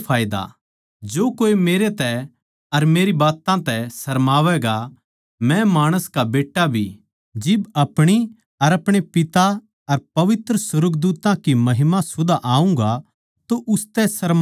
जो कोए मेरै तै अर मेरी बात्तां तै सरमावैगा मै माणस का बेट्टा भी जिब अपणी अर अपणे पिता की अर पवित्र सुर्गदूत्तां की महिमा सुधां आऊँगा तो उसतै सरमावैगा